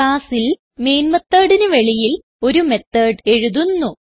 ക്ലാസ്സിൽ മെയിൻ methodന് വെളിയിൽ ഒരു മെത്തോട് എഴുതുന്നു